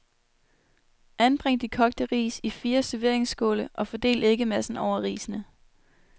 Anbring de kogte ris i fire serveringsskåle og fordel æggemassen over risene.